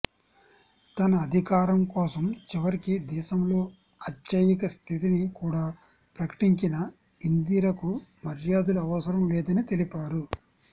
తన అధికారం కోసం చివరికి దేశంలో అత్యయిక స్థితిని కూడా ప్రకటించిన ఇందిరకు మర్యాదలు అవసరం లేదని తెలిపారు